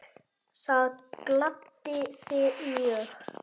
Það gladdi þig mjög.